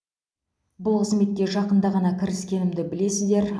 бұл қызметке жақында ғана кіріскенімді білесіздер